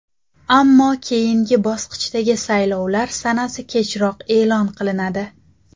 Ammo keyingi bosqichdagi saylovlar sanasi kechroq e’lon qilinadi.